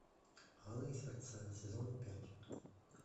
алые сердца сезон пять